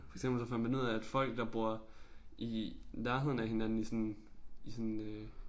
For eksempel så fandt man ud af at folk der bor i nærheden af hinanden i sådan i sådan øh